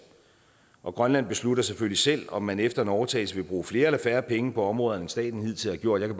og grønland beslutter selvfølgelig selv om man efter en overtagelse vil bruge flere eller færre penge på områderne end staten hidtil har gjort jeg